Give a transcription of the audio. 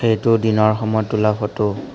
এইটো দিনৰ সময়ত তোলা ফটো ।